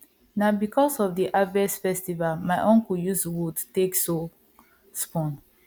na because of the harvest festival my uncle use wood take so spoon